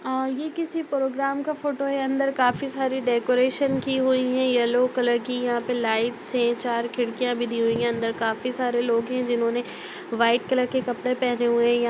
अ यह किसी प्रोग्राम का फ़ोटो है अंदर काफी सारी डेकोरेशन की हुई है येलो कलर की यहाँ पर लाइट्स हैं चार खिड़कियाँ भी दी हुई हैं अंदर काफी सारे लोग हैं जिन्होंने व्हाइट कलर के कपड़े पहने हुए हैं। यहाँ --